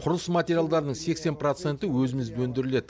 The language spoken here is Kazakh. құрылыс материалдарының сексен проценті өзімізде өндіріледі